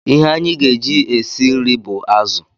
Ihe anyị ga-eji e si nri bụ azụ